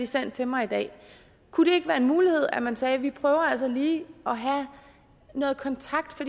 sendt til mig i dag kunne det ikke være en mulighed at man sagde vi prøver altså lige at have noget kontakt